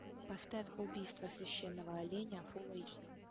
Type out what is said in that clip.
поставь убийство священного оленя фул эйч ди